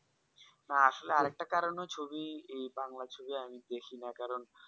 হ্যাঁ আর একটা কারণে ছবি এই বাংলা ছবি আমি দেখি না কারণ